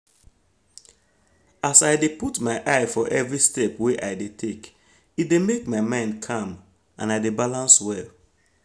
as i dey put eye for every step wey i dey take e dey make my mind calm and i de balance well